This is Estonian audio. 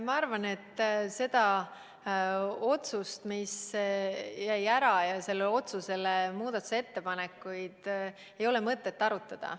Ma arvan, et seda otsust, mis jäi ära, ja selle otsuse eelnõu kohta tehtud muudatusettepanekuid ei ole mõtet arutada.